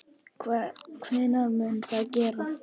Hvenær mun það gerast?